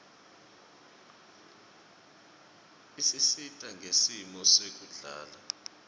isisita ngesimo sekuhlala